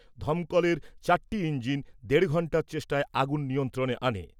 দমকলের চারটি ইঞ্জিন দেড় ঘন্টার চেষ্টায় আগুন নিয়ন্ত্রণে আনে।